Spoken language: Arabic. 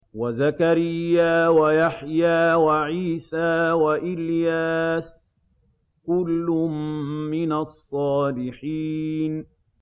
وَزَكَرِيَّا وَيَحْيَىٰ وَعِيسَىٰ وَإِلْيَاسَ ۖ كُلٌّ مِّنَ الصَّالِحِينَ